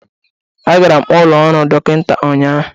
Agara m ụlọ ọrụ dọkịta ụnyaahụ.